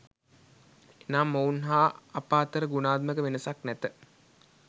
එනම් ඔවුන් හා අප අතර ගුණාත්මක වෙනසක් නැත